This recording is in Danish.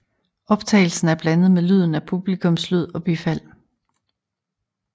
Optagelsen er blandet med lyden af publikumslyd og bifald